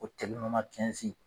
O tɛnɔrɔma kɛnzi